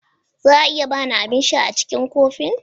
Za a iya ba ni abin sha a cikin kofin?